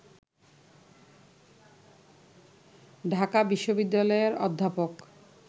ঢাকা বিশ্ববিদ্যালয়ের অধ্যাপক